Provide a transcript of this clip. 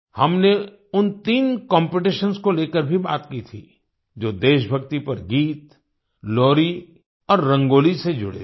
हमने उन तीन कॉम्पिटिशंस को लेकर भी बात की थी जो देशभक्ति पर गीत लोरी और रंगोली से जुड़े थे